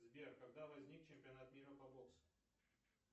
сбер когда возник чемпионат мира по боксу